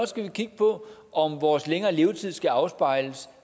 skal vi kigge på om vores længere levetid skal afspejles